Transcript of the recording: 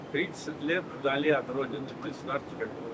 30 il vətəndən uzaq, təsəvvür eləyin.